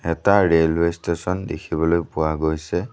এটা railway station দেখিবলৈ পোৱা গৈছে।